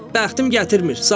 Bəxtim gətirmir.